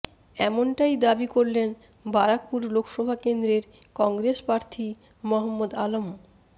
এমনটাই দাবি করলেন বারাকপুর লোকসভা কেন্দ্রের কংগ্রেস প্রার্থী মহম্মদ আলম